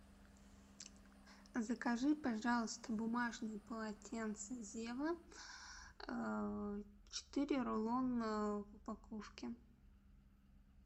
закажи пожалуйста бумажные полотенца зева четыре рулона в упаковке